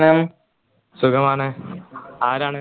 സുഖമാണ് ആരാണ്